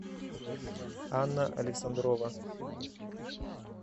анна александрова